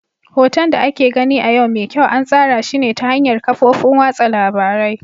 Hoton da ake gani a yau mai kyau an tsara shi ne ta hanyar kafofin watsa labarai.